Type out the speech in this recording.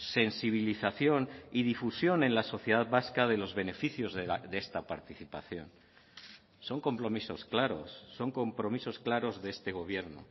sensibilización y difusión en la sociedad vasca de los beneficios de esta participación son compromisos claros son compromisos claros de este gobierno